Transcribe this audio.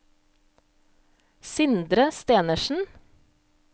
Sindre Stenersen